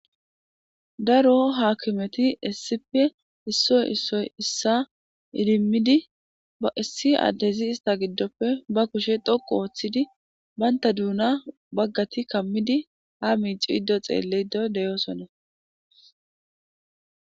Daro haakimeti issipe issoy issoy issa idimmidi ba issi addezi ista giddoppe ba kushe dhoqu ooththidi baynta duuna baggati kammidi ha miici iddo xeelle doy deyosona.